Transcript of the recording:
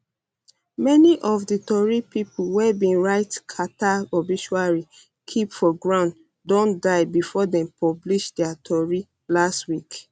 many of di tori pipo wey bin write carter obituary keep for ground don die bifor dem publish dia tori last week